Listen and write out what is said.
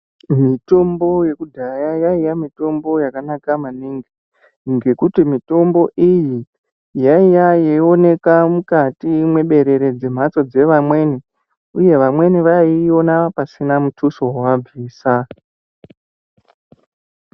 Mitombo yekudhaya yainga mitombo yakanaka maningi ,ngekuti mitombo iyi yaiya yeionekwa mukati mweberere dzematso dzeamweni, uye amweni adziona pasina mutuso wevabvisa.